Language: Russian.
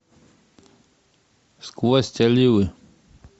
сквозь оливы